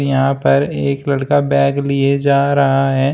यहां पर एक लड़का बैग लिए जा रहा है।